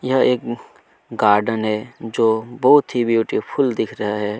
यह एक गार्डन है जो की बहुत ही ब्यूटीफुल दिख रहा है।